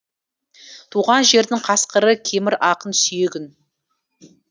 туған жердің қасқыры кемір ақын сүйегін